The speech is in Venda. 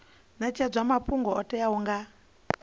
netshedzwa mafhungo o teaho nga